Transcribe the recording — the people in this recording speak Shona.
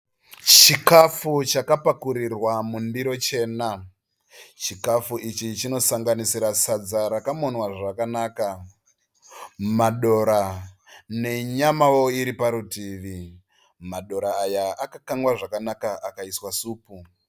Chikafu chakapakurirwa mundiro chena. Chikafu ichi chinosanganisira sadza rakamonwa zvakanaka, madora ne nyamao iriparutivi. Madora aya akakangwa zvakanaka akaiswa supu.